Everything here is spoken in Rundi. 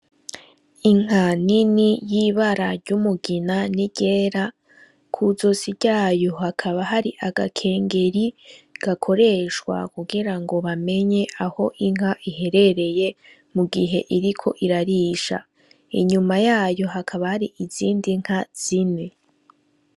Inka nini yibara rya umugina ni ryera kuzosi ryayo hakaba hari agakengeri gakoreshwa kugirango bamenye aho inka iherereye mugihe iriko irarisha inyuma yayo hakaba hari izindi nka zine.